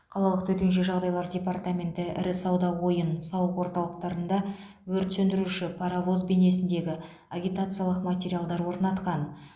қалалық төтенше жағдайлар департаменті ірі сауда ойын сауық орталықтарында өрт сөндіруші паровоз бейнесіндегі агитациялық материалдар орнатқан